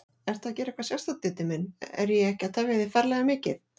Ertu að gera eitthvað sérstakt, Diddi minn. er ég ekki að tefja þig ferlega mikið?